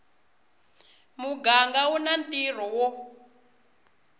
muganga u na ntirho wo